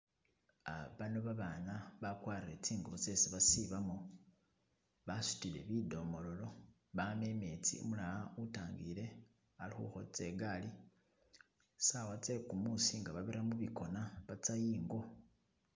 Uh bano babaana bakwarire tsingubo tsesi basibamo basutile bidomololo baama imetsi , umulala utangiile ali khukhotsa igaali, saawa tse kumuusi nga babira mubikona batsa ingo.